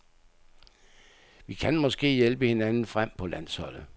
Vi kan måske hjælpe hinanden frem på landsholdet.